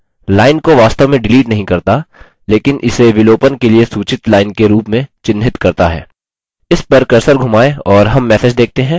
ध्यान दें कि विलोपन डिलीशन लाइन को वास्तव में डिलीट नहीं करता लेकिन इसे विलोपन के लिए सूचित लाइन के रूप में चिन्हित करता है